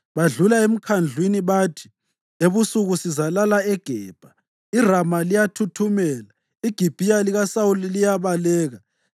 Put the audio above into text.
Badlula emkhandlwini bathi, “Ebusuku sizalala eGebha.” IRama liyathuthumela; iGibhiya likaSawuli liyabaleka.